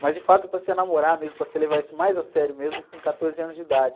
Mas, de fato, passei a namorar mesmo, passei a levar isso mais a sério mesmo, com quatorze anos de idade.